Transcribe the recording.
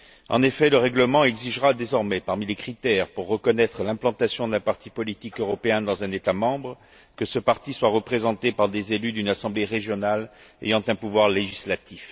En effet, le règlement exigera désormais, parmi les critères pour reconnaître l'implantation d'un parti politique européen dans un État membre, que ce parti soit représenté par des élus d'une assemblée régionale ayant un pouvoir législatif.